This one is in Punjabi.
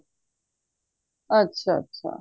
ਅੱਛਾ ਅੱਛਾ